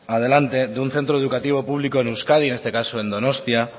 adelante de un centro educativo público en euskadi en este caso en donostia